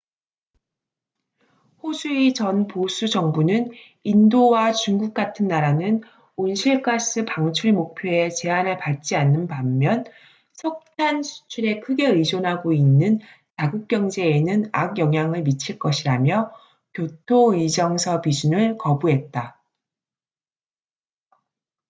호주의 전 보수 정부는 인도와 중국 같은 나라는 온실 가스 방출 목표에 제한을 받지 않는 반면 석탄 수출에 크게 의존하고 있는 자국 경제에는 악영향을 미칠 것이라며 교토 의정서 비준을 거부했다